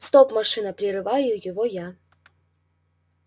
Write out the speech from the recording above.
стоп машина прерываю его я